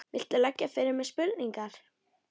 Viltu leggja fyrir mig spurningar?